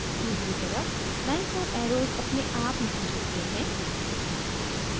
दूसरी तरफ lines और arrows अपने आप नहीं जुड़ते हैं